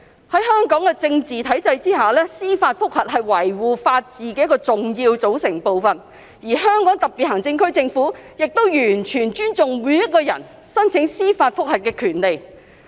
在香港的體制下，司法覆核是維護法治的一個重要組成部份，而香港特別行政區政府亦完全尊重每一個人申請司法覆核的權利。